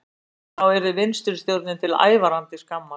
Það yrði vinstristjórninni til ævarandi skammar